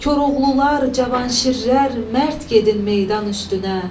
Koroğlular cavan şirlər mərd gedin meydan üstünə.